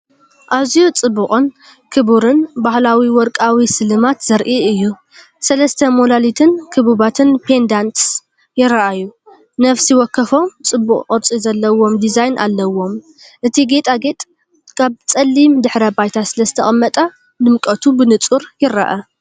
ኣዝዩ ጽቡቕን ክቡርን ባህላዊ ወርቃዊ ስልማት ዘርኢ እዩ። ሰለስተ ሞላሊትን ክቡባትን pendants ይረኣዩ፣ ነፍሲ ወከፎም ጽቡቕ ቅርጺ ዘለዎም ዲዛይን ኣለዎም። እቲ ጌጣጌጥ ኣብ ጸሊም ድሕረ ባይታ ስለ ዝተቐመጠ ድምቀቱ ብንጹር ይርአ።